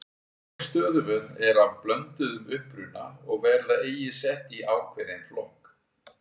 Mörg stöðuvötn eru af blönduðum uppruna og verða eigi sett í ákveðinn flokk.